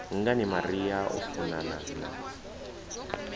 ngani maria o funana na